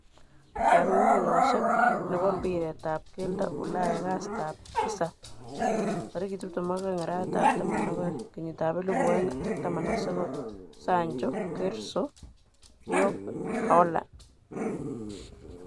Kong'ung'unyoshek nebo mbiret tab keldo Ulaya kastab tisab 22.12.2019:Sancho, Gerso, Diop, Halaand.